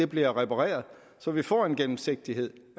bliver repareret så vi får en gennemsigtighed